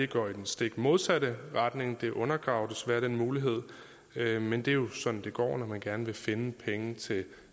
går i den stik modsatte retning det undergraver desværre den mulighed men det er jo sådan det går når man gerne vil finde penge til